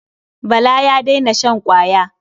Bala ya daina shan ƙwaya.